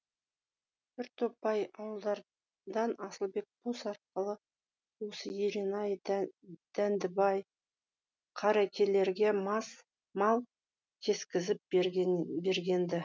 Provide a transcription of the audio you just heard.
бір топ бай ауылдардан асылбек болыс арқылы осы еренай дәндібай қарекелерге мал кескізіп берген ді